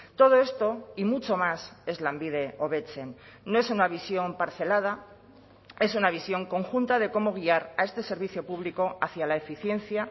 todo esto y mucho más es lanbide hobetzen no es una visión parcelada es una visión conjunta de cómo guiar a este servicio público hacia la eficiencia